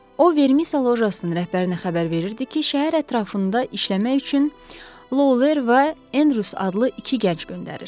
O, Vermisa lojasının rəhbərinə xəbər verirdi ki, şəhər ətrafında işləmək üçün Lovler və Enrus adlı iki gənc göndərir.